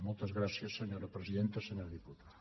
moltes gràcies senyora presidenta senyor diputat